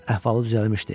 Əhvalı düzəlmişdi.